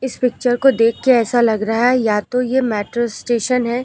इस पिक्चर को देख के ऐसा लग रहा है या तो यह मेट्रो स्टेशन है।